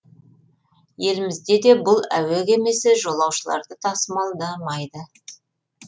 елімізде де бұл әуе кемесі жолаушыларды тасымалдамайды